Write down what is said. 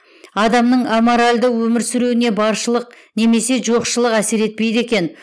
адамның аморалды өмір сүруіне баршылық немесе жоқшылық әсер етпейді екен